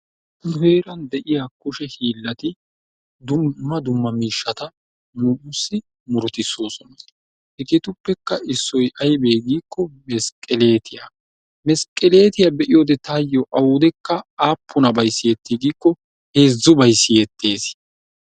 Nu heeran de'iya kushe hiilati dumma dumma miishshata nussi murutisosona. Hegetuppeka issoy aybe giko mesqeleetiya. Mesqeleetiya beiyode tayo awudeka apunabay siyeti giko heezzubay siyetees.